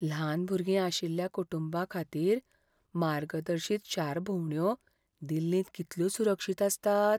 ल्हान भुरगीं आशिल्ल्या कुटुंबांखातीर मार्गदर्शीत शार भोंवड्यो दिल्लींत कितल्यो सुरक्षीत आसतात?